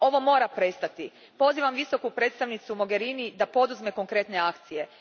Ovo mora prestati. Pozivam Visoku predstavnicu Mogherini da poduzme konkretne akcije.